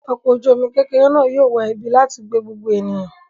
Ọkọ̀-ojúomi kékeré náà yóò wá ibi láti gbé gbogbo èèyàn